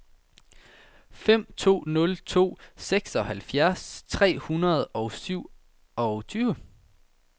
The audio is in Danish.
fem to nul to seksoghalvfjerds tre hundrede og syvogtyve